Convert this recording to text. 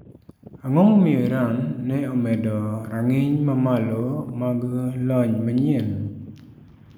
Ang'o momiyo Iran ne omedo rang'iny mamalo mag lony manyien?